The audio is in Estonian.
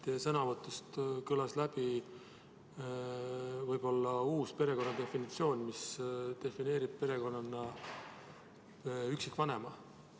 Teie sõnavõtust kõlas läbi võib-olla uus perekonna definitsioon, mis defineerib perekonnana üksikvanema.